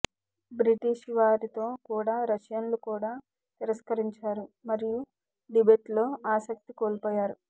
బ్రిటీష్వారితో కూడా రష్యన్లు కూడా తిరస్కరించారు మరియు టిబెట్లో ఆసక్తి కోల్పోయారు